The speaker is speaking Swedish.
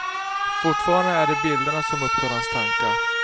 Fortfarande är det bilderna som upptar hans tankar.